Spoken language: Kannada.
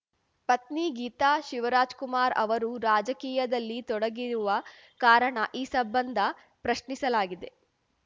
ಪತ್ನಿ ಗೀತಾ ಶಿವರಾಜ್‌ಕುಮಾರ್‌ ಅವರು ರಾಜಕೀಯದಲ್ಲಿ ತೊಡಗಿರುವ ಕಾರಣ ಈ ಸಂಬಂಧ ಪ್ರಶ್ನಿಸಲಾಗಿದೆ